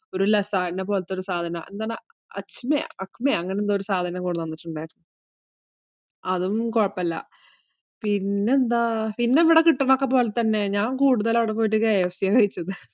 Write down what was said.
ഒരു ലസാഗ്നിയ പോലത്തെ ഒരു സാധനം ആണ്. എന്താ അത്, അജ്‌മായോ അങ്ങനെ എന്തോ ഒരു സാധനം കൊണ്ടുവന്നിട്ടുണ്ടായിരുന്നു. അതൊന്നും കൊഴപ്പമില്ല. പിന്നെ എന്താ? പിന്നെ ഇവിടെ കിട്ടുന്ന ഒക്കെ പോലെ തന്നെ. ഞാൻ കൂടുതലും അവിടെ പോയിട്ട് KFC ആണ് കഴിച്ചത്.